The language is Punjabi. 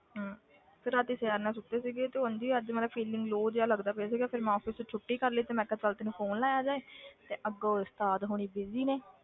ਹਮ ਫਿਰ ਰਾਤੀ ਚੈਨ ਨਾਲ ਸੁੱਤੇ ਸੀਗੇ ਤੇ ਉਞ ਹੀ ਅੱਜ ਮੈਂ ਕਿਹਾ feeling low ਜਿਹਾ ਲੱਗਦਾ ਪਿਆ ਸੀਗਾ ਫਿਰ ਮੈਂ office ਤੋਂ ਛੁੱਟੀ ਕਰ ਲਈ ਤੇ ਮੈਂ ਕਿਹਾ ਚੱਲ ਤੈਨੂੰ phone ਲਾਇਆ ਜਾਏ ਤੇ ਅੱਗੋਂ ਉਸਤਾਦ ਹੋਣੀ busy ਨੇ,